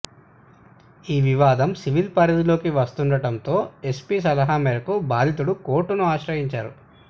ఈ వివాదం సివిల్ పరిధిలోకి వస్తుండటంతో ఎస్పీ సలహా మేరకు బాధితుడు కోర్టును ఆశ్రయించారు